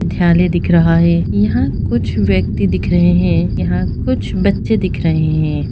विद्यालय दिख रहा है यहाँ कुछ व्यक्ति दिख रहे हैं यहाँ कुछ बच्चे दिख रहे हैं।